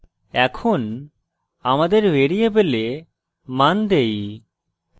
এখন আমাদের ভ্যারিয়েবলে মান দেই